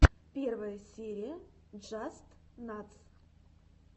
первая серия джастнатс